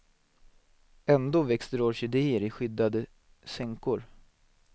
Ändå växer det orkidéer i skyddade sänkor.